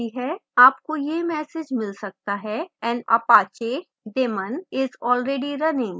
आपको यह message मिल सकता है an apache daemon is already running